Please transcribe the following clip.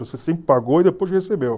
Você sempre pagou e depois recebeu.